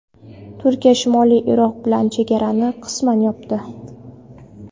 Turkiya Shimoliy Iroq bilan chegarani qisman yopdi.